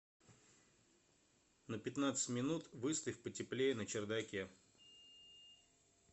на пятнадцать минут выставь потеплее на чердаке